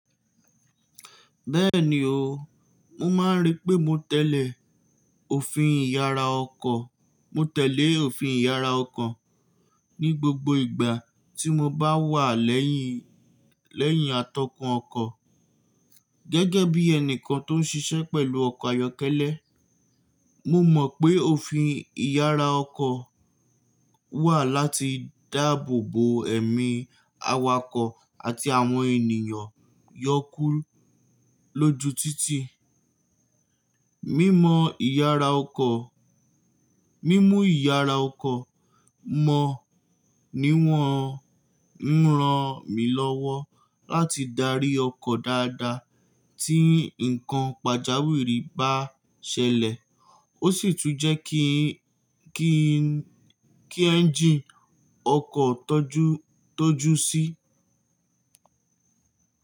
Bẹ́ẹ̀ni o, mo máa ń rí pé mo tẹ̀lé òfin ìyara ọkọ̀. Mo tẹ̀lé òfin ìyara ọkọ̀ ní gbogbo ìgbà tí mo bá wà lẹ́yìn, lẹ́yìn atọ́kùn ọkọ̀. Gẹ́gẹ́ bí ẹni kan tó ń ṣiṣẹ́ pẹ̀lú ọkọ̀ ayọ́kẹ́lẹ́, mo mọ̀ pé òfin ìyara ọkọ̀ wà láti dáàbò bo ẹ̀mí awakọ̀ àti àwọn ènìyàn yọ kú lóju títì. Mímọ ìyara ọkọ̀, mímú ìyara ọkọ̀ mọ̀ ní wọ́n ń ran mi lọ́wọ́ láti darí ọkọ̀ dáadáa tí nǹkan pàjáwìrì bá ṣẹlẹ̀. Ó sì tún jẹ́ kí ń, kí ń, kí ẹ́ńjí ọkọ̀ tọ́jú, tọ́jú sí.